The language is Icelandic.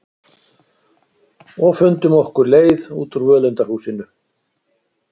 Og fundum okkar leið út úr völundarhúsinu.